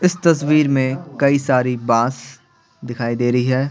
इस तस्वीर में कई सारी बांस दिखाई दे रही है।